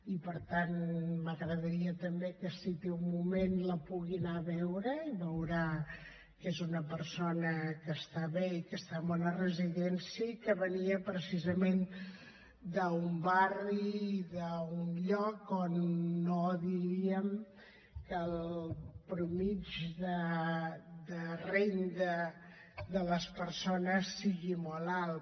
i per tant m’agradaria també que si té un moment la pugui anar a veure i veurà que és una persona que està bé i que està en una residència i que venia precisament d’un barri d’un lloc on no diríem que la mitjana de renda de les persones fos molt alt